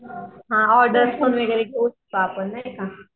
हा ऑर्डर सगळी नाहीका